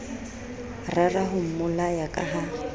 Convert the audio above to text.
rera ho mmolaya ka ha